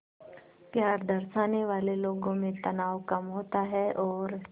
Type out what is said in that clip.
प्यार दर्शाने वाले लोगों में तनाव कम होता है और